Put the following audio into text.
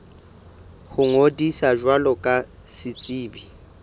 ho ngodisa jwalo ka setsebi